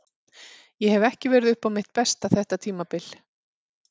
Ég hef ekki verið upp á mitt besta þetta tímabil.